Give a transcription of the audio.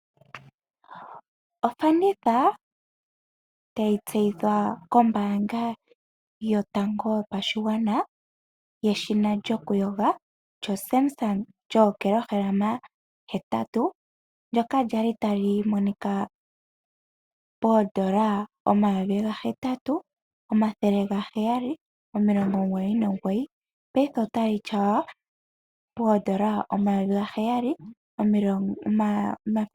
Ofanditha tayi tseyithwa kombaanga yotango yopashigwana yeshina lyokuyoga lyoSamsung, lyookilohalama hetatu, ndyoka lya li tali monika ka koondola omayovi gahetatu, omathele gaheyali, omilongo omugoyi nomugoyi, paife otali tyaywa koondola omayovi gaheyali, omathele omugoyi nomilongo omugoyi nomugoyi.